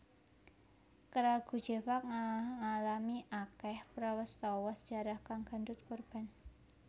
Kragujevac ngalami akèh prastawa sajarah kang ngandhut korban